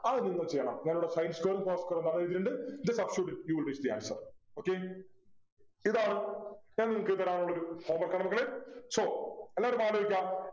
അത് നിങ്ങള് ചെയ്യണം ഞാനിവിടെ Sin square ഉം cos square ഉം പറഞ്ഞന്നിട്ടുണ്ട് Then substitute it you will get the answer okay ഇതാണ് ഞാൻ നിങ്ങക് തരാനുള്ളൊരു home work ആണ് മക്കളെ so എല്ലാരും ആലോചിക്കാ